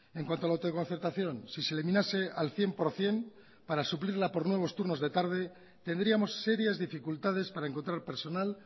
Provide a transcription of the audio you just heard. en cuanto a la autoconcertación si se eliminase al cien por ciento para suplirla por nuevos turnos de tarde tendríamos serias dificultades para encontrar personal